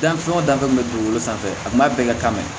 Dan fɛn o fɛn kun bɛ dugukolo sanfɛ a ma bɛɛ ka kan dɛ